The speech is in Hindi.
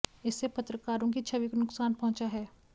इससे पत्रकारों की छवि को नुकसान पहुंचा है